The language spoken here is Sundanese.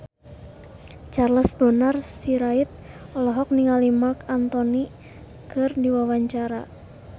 Charles Bonar Sirait olohok ningali Marc Anthony keur diwawancara